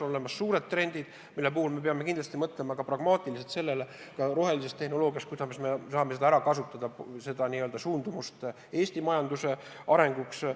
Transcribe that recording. On olemas suured trendid, mille puhul me peame kindlasti mõtlema pragmaatiliselt, kuidas kasutada suundumust rohelisele tehnoloogiale Eesti majanduse arenguks.